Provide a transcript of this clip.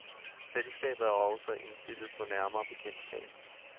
Selskabet er også indstillet på nærmere bekendtskab.